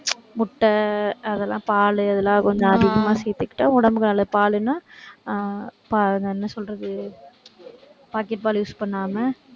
முட்டை, அதெல்லாம் பால், அது எல்லாம், கொஞ்சம் அதிகமா சேர்த்துக்கிட்டா உடம்புக்கு நல்லது பாலுன்னா ஆஹ் பாலுன்னா என்ன சொல்றது packet பால் use பண்ணாம